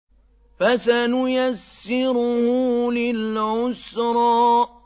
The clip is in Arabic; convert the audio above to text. فَسَنُيَسِّرُهُ لِلْعُسْرَىٰ